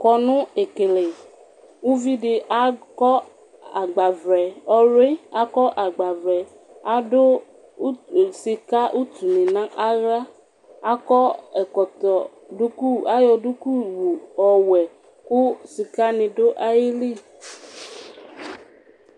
kɔno ekele uvi di akɔ agbavlɛ ɔwli akɔ agbavlɛ ado utu sika utu ni n'ala akɔ ɛkɔtɔ duku ayɔ duku wu ɔwɛ ko sika ni do ayili